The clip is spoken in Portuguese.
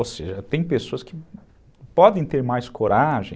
Ou seja, tem pessoas que podem ter mais coragem